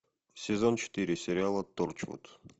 сезон четыре сериала торчвуд